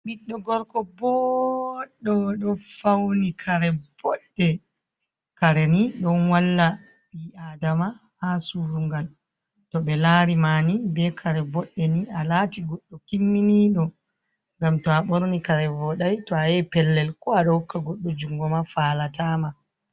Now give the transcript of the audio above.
Ɓiɗɗo "gorko boɗɗo ɗo fawni kare boɗɗe. Kareni ɗon walla ɓii adama ha surungal, to ɓe larima ni ɓe kare boɗɗe ni alati goɗɗo kimminiɗo, ngam to a ɓorni kare voday to, a yahi pellel ko aɗo hokka goɗɗo jungo ma falatama.